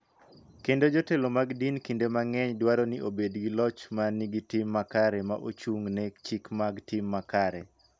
Kendo jotelo mag din kinde mang�eny dwaro ni obed gi loch ma nigi tim makare ma ochung�ne chike mag tim makare.